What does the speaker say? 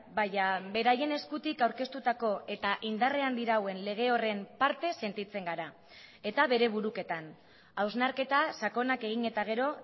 baina beraien eskutik aurkeztutako eta indarrean dirauen lege horren parte sentitzen gara eta bere buruketan hausnarketa sakonak egin eta gero